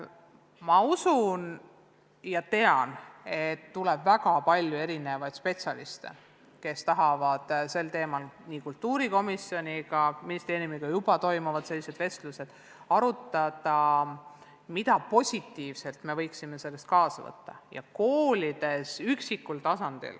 Ma usun ja tean, et tuleb väga palju erinevaid spetsialiste, kes tahavad sel teemal kultuurikomisjoniga – ministeeriumiga sellised vestlused juba toimuvad – arutada, mida positiivset võiksime sellest kogemusest kaasa võtta.